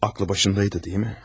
Ağılı başında idi, deyilmi?